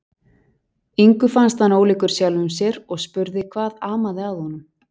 Ingu fannst hann ólíkur sjálfum sér og spurði hvað amaði að honum.